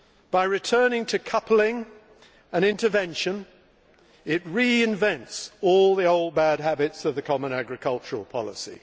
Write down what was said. By returning to coupling and intervention, it reinvents all the old bad habits of the common agricultural policy.